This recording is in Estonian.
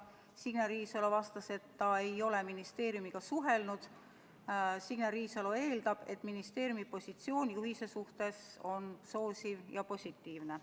Signe Riisalo vastas, et ta ei ole ministeeriumiga suhelnud ja ta eeldab, et ministeeriumi positsioon juhendi suhtes on soosiv ning positiivne.